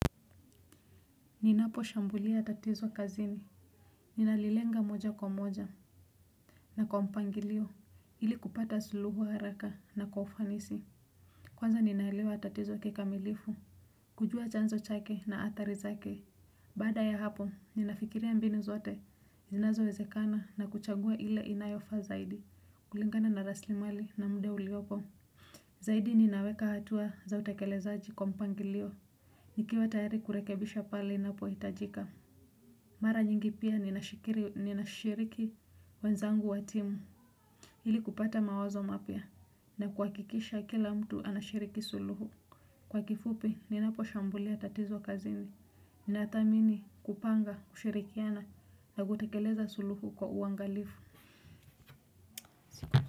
Ninaposhambulia tatizo kazini ninalilenga moja kwa moja na kwa mpangilio ili kupata suluhu haraka na kwa ufanisi. Kwanza ninaelewa tatizo kikamilifu kujua chanzo chake na athari zake. Baada ya hapo ninafikiria mbinu zote zinazowezekana na kuchagua ile inayofaa zaidi kulingana na rasilimali na muda uliopo. Zaidi ninaweka hatua za utakelezaji kwa mpangilio. Nikiwa tayari kurekebisha pale inapohitajika. Mara nyingi pia ninashiriki wenzangu wa timu. Iili kupata mawazo mapya na kuhakikisha kila mtu anashiriki suluhu. Kwa kifupi, ninaposhambulia tatizo kazini. Nathamini kupanga, kushirikiana na kutekeleza suluhu kwa uangalifu.